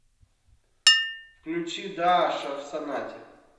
включи дааша в сонате